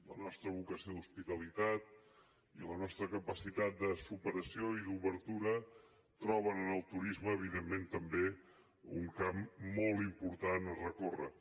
la nostra vocació d’hospitalitat i la nostra capacitat de superació i d’obertura troben en el turisme evidentment també un camp molt important a recórrer